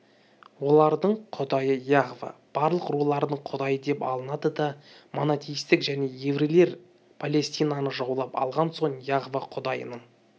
олардың құдайы яхва барлық рулардың құдайы деп алынады да монотеистік жеке еврейлер палестинаны жаулап алған соң яхва құдайының